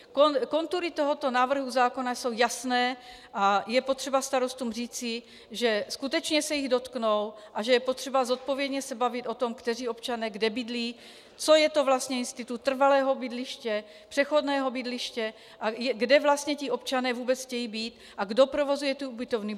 Kontury tohoto návrhu zákona jsou jasné a je potřeba starostům říci, že skutečně se jich dotknou a že je potřeba zodpovědně se bavit o tom, kteří občané kde bydlí, co je to vlastně institut trvalého bydliště, přechodného bydliště a kde vlastně ti občané vůbec chtějí být a kdo provozuje ty ubytovny.